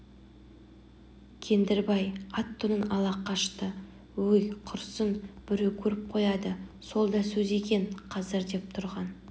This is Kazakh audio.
кендірбай ат-тонын ала қашты өй құрысын біреу көріп қояды сол да сөз екен қазір деп тұрған